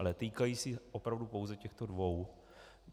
Ale týkají se opravdu pouze těchto dvou.